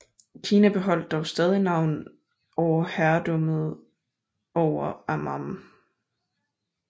Kina beholdt dog stadig af navn overherredømmet over Amman